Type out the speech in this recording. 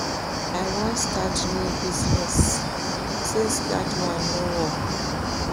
I wan start new business since dat one no work